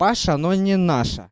паша но не наша